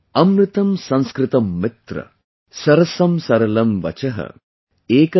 अमृतम् संस्कृतम् मित्र, सरसम् सरलम् वचः |